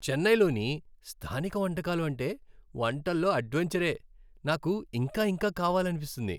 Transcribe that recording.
చెన్నైలోని స్థానిక వంటకాలు అంటే వంటల్లో అడ్వెంచరే, నాకు ఇంకా ఇంకా కావాలనిపిస్తుంది.